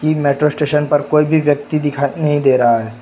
इन metro station पर कोई भी व्यक्ति दिखाई नहीं दे रहा है।